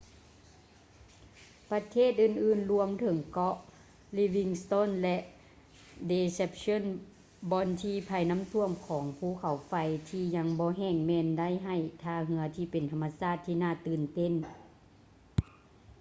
ປະເທດອື່ນໆລວມເຖິງເກາະ livingston ແລະ deception ບ່ອນທີ່ໄພນ້ຳຖ້ວມຂອງພູເຂົາໄຟທີ່ຍັງບໍ່ແຫ້ງແມ່ນໄດ້ໃຫ້ທ່າເຮືອທີ່ເປັນທຳມະຊາດທີ່ນ່າຕື່ນເຕັ້ນ